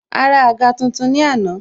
A ra àga tuntun ni àná